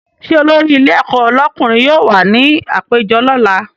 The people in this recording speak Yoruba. Ṣé olórí ilé ẹ̀kọ́ lọ́kùnrin yóò wà ní àpéjọ lọ́la?